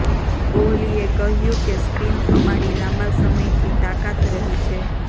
કોહલીએ કહ્યુ કે સ્પિન અમારી લાંબા સમયથી તાકાત રહી છે